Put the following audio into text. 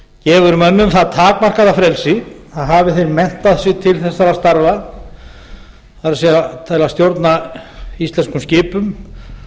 gefur mönnum það takmarkaða frelsi að hafi þeir menntað sig til þessara starfa það er til að stjórna íslenskum skipum